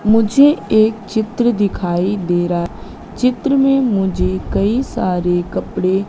मुझे एक चित्र दिखाई दे रहा चित्र में मुझे कई सारे कपड़े --